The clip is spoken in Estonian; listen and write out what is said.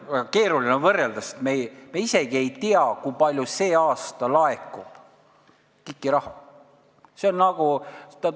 Keeruline on võrrelda, sest me ei tea isegi seda, kui palju see aasta KIK-i raha laekub.